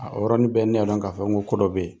Aa yɔrɔnin bɛɛ ne ya dɔn ka fɔ ko ko dɔ be yen.